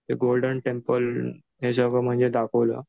ते Golden Temple हे सगळं म्हणजे दाखवलं.